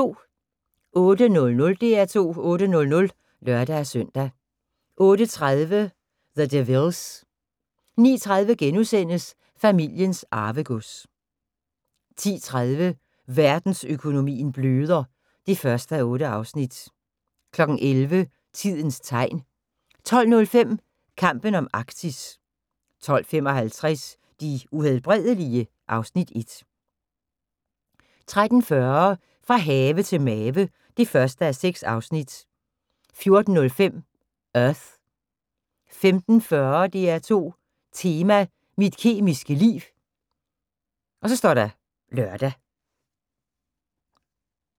08:00: DR2 8:00 (lør-søn) 08:30: The Devilles 09:30: Familiens Arvegods * 10:30: Verdensøkonomien bløder (1:8) 11:00: Tidens Tegn 12:05: Kampen om Arktis 12:55: De Uhelbredelige? (Afs. 1) 13:40: Fra have til mave (1:6) 14:05: Earth 15:40: DR2 Tema: Mit kemiske liv (lør)